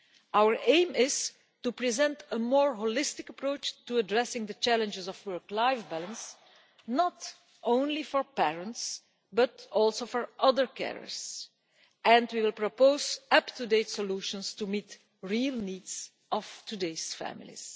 Our aim is to present a more holistic approach to addressing the challenges of work life balance not only for parents, but for other carers as well, and we will propose up to date solutions to meet the real needs of today's families.